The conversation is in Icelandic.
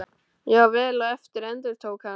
Já, vel á eftir, endurtók hún.